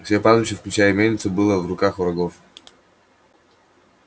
все пастбища включая и мельницу было в руках врагов